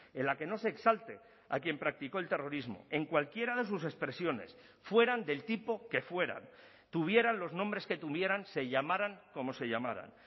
en la que no se exalte a quien practicó el terrorismo en cualquiera de sus expresiones fueran del tipo que fueran tuvieran los nombres que tuvieran se llamaran como se llamaran